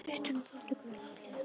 Kristján: Og þá tekur við langt hlé?